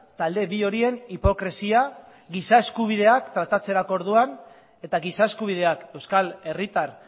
talde bi horien hipokresia giza eskubideak tratatzerako orduan eta giza eskubideak euskal herritar